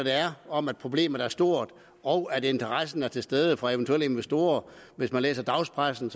om at problemet er stort og når interessen er til stede fra eventuelle investorer hvis man læser dagspressen